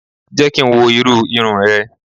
Jẹ́ kí n wo irú irun rẹ